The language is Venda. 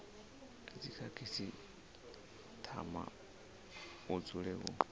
a dzikhasitama hu dzule hu